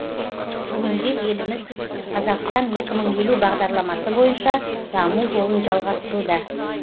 бүгінде еліміз қазақстан екі мың елу бағдарламасы бойынша даму жолын жалғастыруда